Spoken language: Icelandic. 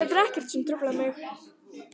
Þetta er ekkert sem truflar mig.